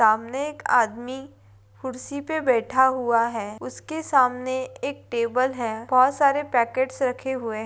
सामने एक आदमी खुर्सी पे बैठा हुआ है उसके सामने एक टेबल है बहोत सारे पैकेटस रखे हुए हैं।